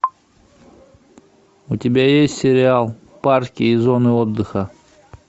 у тебя есть сериал парки и зоны отдыха